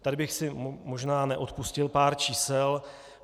Tady bych si možná neodpustil pár čísel.